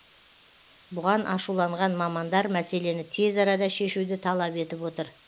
бұған ашуланған мамандар мәселені тез арада шешуді талап етіп отыр